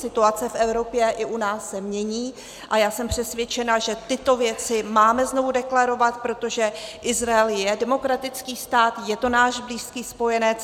Situace v Evropě i u nás se mění a já jsem přesvědčena, že tyto věci máme znovu deklarovat, protože Izrael je demokratický stát, je to náš blízký spojenec.